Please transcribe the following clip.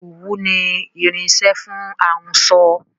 Òwú ni irinsẹ́ fún ahunsọ